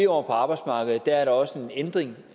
år på arbejdsmarkedet er der også en ændring